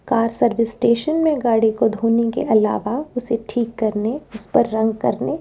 car service station में गाड़ी को धोने के अलावा उसे ठीक करने उस पर रंग करने--